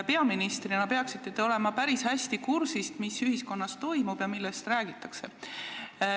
Peaministrina peaksite olema päris hästi kursis, mis ühiskonnas toimub ja millest räägitakse.